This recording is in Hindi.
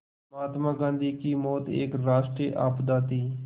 महात्मा गांधी की मौत एक राष्ट्रीय आपदा थी